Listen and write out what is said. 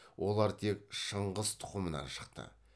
олар тек шыңғыс тұқымынан шықты